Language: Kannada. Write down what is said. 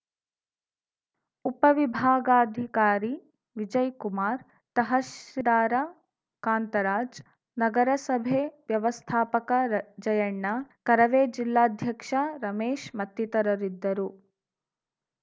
ಉಪವಿಭಾಗಾಧಿಕಾರಿ ವಿಜಯಕುಮಾರ್‌ ತಹರ್ಸಿರಾರ ಕಾಂತರಾಜ್‌ ನಗರಸಭೆ ವ್ಯವಸ್ಥಾಪಕ ಜಯಣ್ಣ ಕರವೇ ಜಿಲ್ಲಾಧ್ಯಕ್ಷ ರಮೇಶ್‌ ಮತ್ತಿತರರಿದ್ದರು